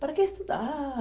Para quê estudar?